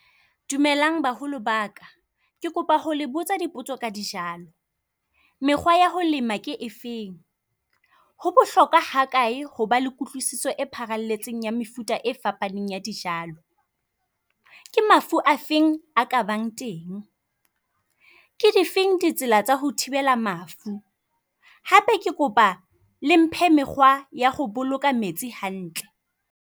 Dumelang baholo baka ke kopa ho le botsa dipotso ka dijalo. Mekgwa ya ho lema ke efeng? Ho bohlokwa ha kae hoba le kutlwisiso e pharalletseng ya mefuta e fapaneng ya dijalo? Ke mafu a feng a ka bang teng? Ke difeng ditsela tsa ho thibela mafu? Hape ke kopa le mphe mekgwa ya ho boloka metsi hantle.